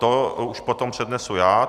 To už potom přednesu já.